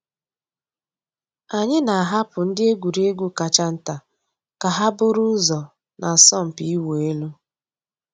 Ányị́ nà-àhapụ́ ndị́ ègwùrégwú kàchà ntá kà hà búrú ụ́zọ́ nà àsọ̀mpị́ ị̀wụ́ èlú.